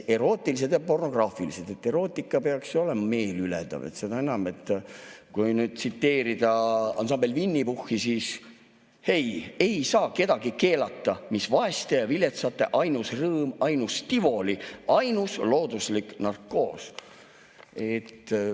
Erootiline ja pornograafiline – erootika peaks ju samuti olema meeliülendav, seda enam, tsiteerides ansambel Winny Puhhi, ei saa kellelegi keelata, mis vaeste ja viletsate ainus rõõm, ainus tivoli, ainus looduslik narkoos.